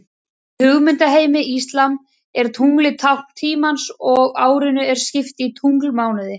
Í hugmyndaheimi íslam er tunglið tákn tímans og árinu er skipt í tunglmánuði.